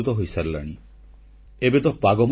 • ଜଙ୍ଗଲ ସମ୍ପଦର ସୁରକ୍ଷା ପାଇଁ ଦେଶ ଆଦିବାସୀଙ୍କ ପାଖରେ ଋଣୀ